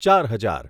ચાર હજાર